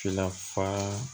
Finna fa